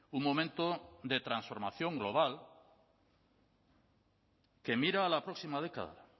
un momento de transformación global que mira a la próxima década